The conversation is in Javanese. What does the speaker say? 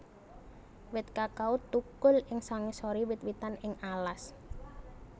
Wit kakao thukul ing sangisoré wit witan ing alas